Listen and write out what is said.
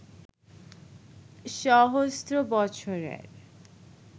সহস্র বছরের